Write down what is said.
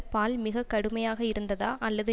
பால் மிக கடுமையாக இருந்ததா அல்லது